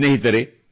ಸ್ನೇಹಿತರೆ